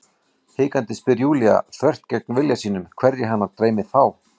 Hikandi spyr Júlía, þvert gegn vilja sínum, hverja hana dreymi þá?